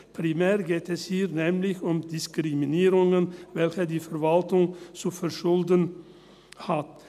Primär geht es hier nämlich um Diskriminierungen, welche die Verwaltung zu verschulden hat.